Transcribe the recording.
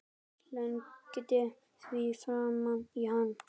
Slengdi því framan í hann.